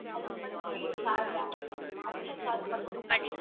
அதுக்கு மட்டும் கொஞ்சம் charge ஆகும் ma'am அதுக்கு charge மட்டும் குடுத்தா போதும்